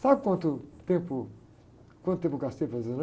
Sabe quanto tempo, quanto tempo gastei fazendo?